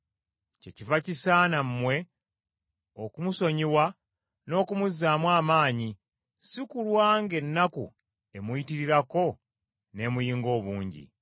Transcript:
kyekiva kisaana mmwe okumusonyiwa n’okumuzzaamu amaanyi si kulwa ng’ennaku emuyitirirako n’emuyinga obungi.